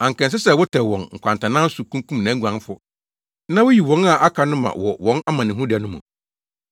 Anka ɛnsɛ sɛ wotɛw wɔn nkwantanan so kunkum nʼaguanfo Na wuyi wɔn a aka no ma wɔ wɔn amanehunuda no mu.